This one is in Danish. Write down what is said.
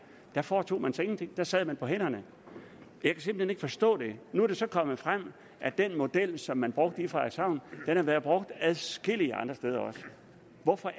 der foretog man sig ingenting der sad man på hænderne jeg kan simpelt hen ikke forstå det nu er det så kommet frem at den model som man brugte i frederikshavn har været brugt adskillige andre steder også hvorfor